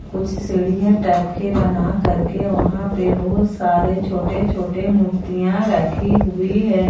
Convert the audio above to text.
कुछ सीढ़ियां टाइप के बना करके वहां पे बहुत सारे छोटे छोटे मूर्तियां रखी हुई है।